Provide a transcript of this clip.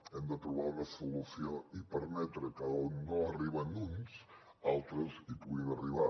hem de trobar una solució i permetre que on no arriben uns altres hi puguin arribar